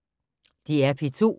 DR P2